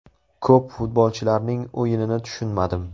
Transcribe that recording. Ko‘p futbolchilarning o‘yinini tushunmadim.